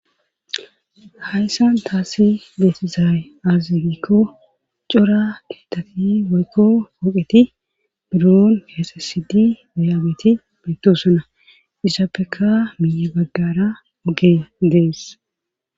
hayssan taasi bettizay aaze gikko cora keetati woykko ooqeti buron keesesidi dayaageti meettosona izaapeka miiye baggara oge dees